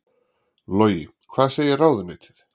Logi: Hvað segir ráðuneytið?